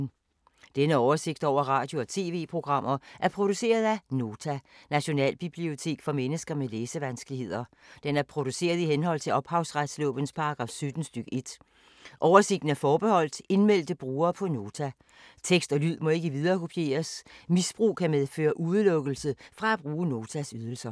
Denne oversigt over radio og TV-programmer er produceret af Nota, Nationalbibliotek for mennesker med læsevanskeligheder. Den er produceret i henhold til ophavsretslovens paragraf 17 stk. 1. Oversigten er forbeholdt indmeldte brugere på Nota. Tekst og lyd må ikke viderekopieres. Misbrug kan medføre udelukkelse fra at bruge Notas ydelser.